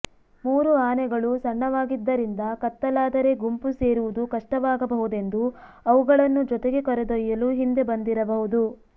ಮೂರು ಆನೆಗಳು ಸಣ್ಣವಾಗಿದ್ದರಿಂದ ಕತ್ತಲಾದರೆ ಗುಂಪು ಸೇರುವುದು ಕಷ್ಟವಾಗಬಹುದೆಂದು ಅವುಗಳನ್ನು ಜೊತೆಗೆ ಕರೆದೊಯ್ಯಲು ಹಿಂದೆ ಬಂದಿರಬಹುದು